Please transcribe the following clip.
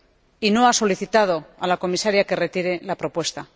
y no ha solicitado a la Comisaria que retirase la propuesta.